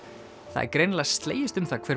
það er greinilega slegist um það hver